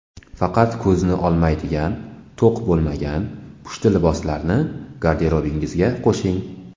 Faqat ko‘zni olmaydigan, to‘q bo‘lmagan pushti liboslarni garderobingizga qo‘shing.